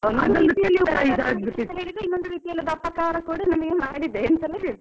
ಒಂದು ರೀತಿಯಲ್ಲಿ ಉಪಕಾರ ಮಾಡಿದೇ ಅಂದ್ರೆ ಇನ್ನೊಂದು ರೀತಿಯಲ್ಲಿ ಅಪಕಾರ ಕೂಡ ನಮಿಗೆ ಮಾಡಿದೆ ಎಂತೆಲ್ಲ ಹೇಳ್ತಾರೆ.